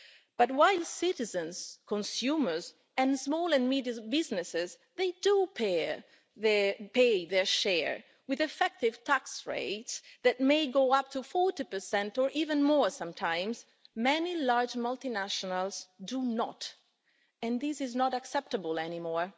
But while citizens, consumers and small and medium businesses do pay their share, with effective tax rates that may go up to 40 or even more sometimes, many large multinationals do not, and this is not acceptable anymore.